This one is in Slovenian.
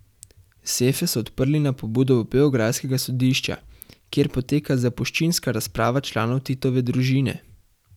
Sefe so odprli na pobudo beograjskega sodišča, kjer poteka zapuščinska razprava članov Titove družine.